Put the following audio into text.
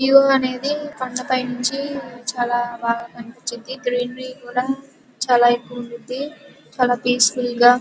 View అనేది కొండపై నుంచి చాలా బాగా కనిపించింది . గ్రీన్ర కూడా చాలా ఎక్కువగా ఉంది చాలా పీస్ ఫుల్ గా.